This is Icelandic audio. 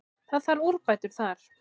Það þarf úrbætur þar.